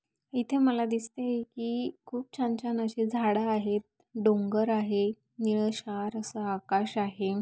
इथे मला दिसत आहे की खूप छान छान असे झाड आहेत. डोंगर आहे निळे क्षार अस आकाश आहे.